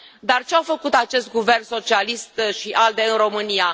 Dar ce a făcut acest guvern socialist și ALDE în România?